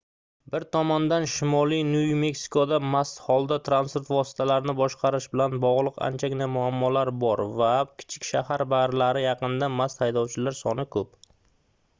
bir tomondan shimoliy nyu-meksikoda mast holda transport vositalarini boshqarish bilan bogʻliq anchagina muammolar bor va kichik shahar barlari yaqinida mast haydovchilar soni koʻp